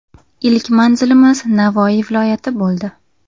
Ilk manzilimiz Navoiy viloyati bo‘ldi.